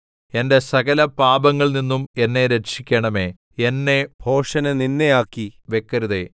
എന്റെ സകല പാപങ്ങളിൽ നിന്നും എന്നെ രക്ഷിക്കണമേ എന്നെ ഭോഷന് നിന്ദയാക്കി വെക്കരുതേ